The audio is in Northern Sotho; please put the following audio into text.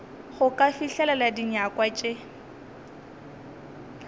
go ka fihlelela dinyakwa tša